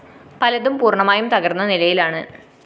പലതും പൂര്‍ണ്ണമായും തകര്‍ന്ന നിലയിലാണ്